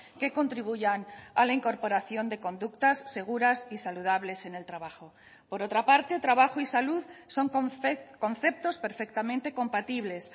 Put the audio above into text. que contribuyan a la incorporación de conductas seguras y saludables en el trabajo por otra parte trabajo y salud son conceptos perfectamente compatibles